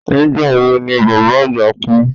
Nígbà wo ni baba agba kú?